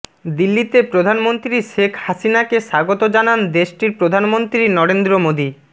দিল্লিতে প্রধানমন্ত্রী শেখ হাসিনাকে স্বাগত জানান দেশটির প্রধানমন্ত্রী নরেন্দ্র মোদি